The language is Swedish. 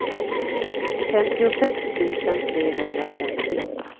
femtiosex tusen trehundrafemtio